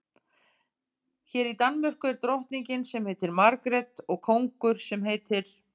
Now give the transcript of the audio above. Hér í Danmörku er drottning sem heitir Margrét og kóngur sem heitir